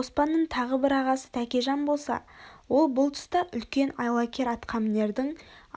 оспанның тағы бір ағасы тәкежан болса ол бұл тұста үлкен айлакер атқамінердің